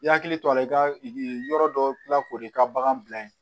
I yakili to a la i ka yɔrɔ dɔ tila k'o de i ka bagan bila yen